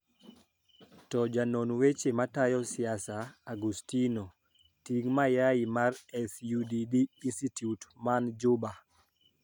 To janon weche matayo siasa, Augustino Ting Mayai mar SUDD Institute man Juba